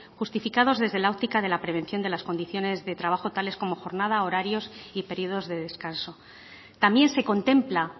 justificados desde la óptica de la prevención de las condiciones de trabajo tales como jornada horarios y periodos de descanso también se contempla